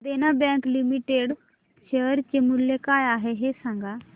देना bank limited share चे मूल्य काय आहे हे सांगा